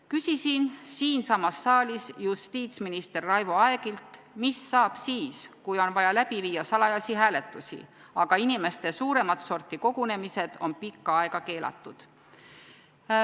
Küsisin siinsamas saalis justiitsminister Raivo Aegilt, mis saab siis, kui on vaja läbi viia salajasi hääletusi, aga inimeste suuremat sorti kogunemised on pikka aega keelatud.